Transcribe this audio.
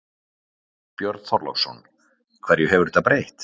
Björn Þorláksson: Hverju hefur þetta breytt?